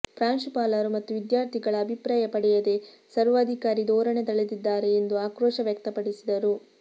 ಪ್ರಾಂಶುಪಾಲರು ಮತ್ತು ವಿದ್ಯಾರ್ಥಿಗಳ ಅಭಿಪ್ರಾಯ ಪಡೆಯದೇ ಸರ್ವಾಧಿಕಾರಿ ಧೋರಣೆ ತಳೆದಿದ್ದಾರೆ ಎಂದು ಆಕ್ರೋಶ ವ್ಯಕ್ತಪಡಿಸಿದರು